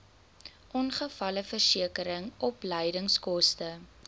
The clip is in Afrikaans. ongevalleversekering opleidingskoste